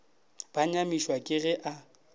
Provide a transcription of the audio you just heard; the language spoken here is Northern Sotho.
ba nyamišwa ke ge a